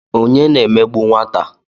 Onye na-emegbu nwata?